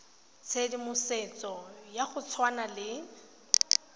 tshedimosetso ya go tshwana le